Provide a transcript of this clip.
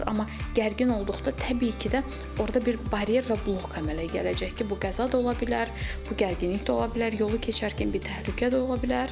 Amma gərgin olduqda təbii ki də orda bir baryer və blok əmələ gələcək ki, bu qəza da ola bilər, bu gərginlik də ola bilər, yolu keçərkən bir təhlükə də ola bilər.